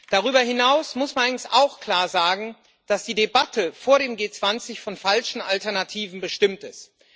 Darüber hinaus muss man allerdings auch klar sagen, dass die Debatte vor dem G20 von falschen Alternativen bestimmt ist.